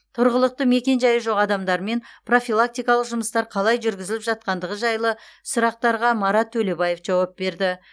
тұрғылықты мекенжайы жоқ адамдармен профилактикалық жұмыстар қалай жүргізіліп жатқандығы жайлы сұрақтарға марат төлебаев жауап берді